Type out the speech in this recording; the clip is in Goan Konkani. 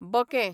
बकें